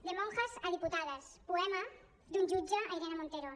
de monjas a diputadas poema d’un jutge a irene montero